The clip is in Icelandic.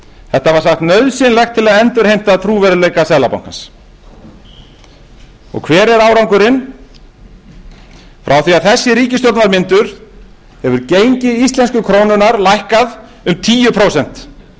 þetta var sagt nauðsynlegt til að endurheimta trúverðugleika seðlabankans hver er árangurinn frá því að þessi ríkisstjórn var mynduð hefur gengi íslensku krónunnar lækkað um tíu prósent